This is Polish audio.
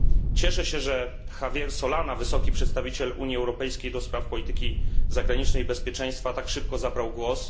Cieszę się, że Javier Solana, Wysoki Przedstawiciel Unii Europejskiej ds. Polityki Zagranicznej i Bezpieczeństwa, tak szybko zabrał głos.